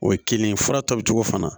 O ye kelen ye fura tɔ bi cogo fana